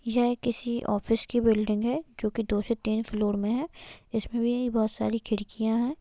यह किसी ऑफिस की बिल्डिंग है जो की दो से तीन फ्लोर मैं है इसमें भी बहोत सारी खिड़कियाँ है।